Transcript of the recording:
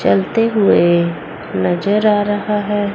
चलते हुए नजर आ रहा है।